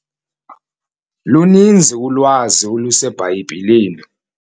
Luninzi ulwazi oluseBhayibhileni.